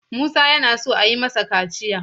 Musa yana so a yi masa kaciya.